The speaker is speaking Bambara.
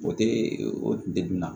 O tɛ o degun na